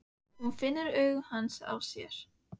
Hún finnur augu hans á sér.